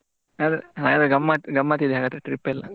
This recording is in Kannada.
ಹಾಗಾದ್ರೆ ಗಮ್ಮತಿದೆ ಹಾಗಾದ್ರೆ trip ಎಲ್ಲಾ.